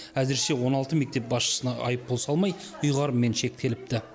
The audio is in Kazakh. әзірше он алты мектеп басшысына айыппұл салмай ұйғарыммен шектеліпті